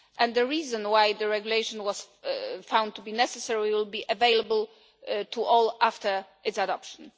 The reason why the regulation was found to be necessary will be available to all after its adoption.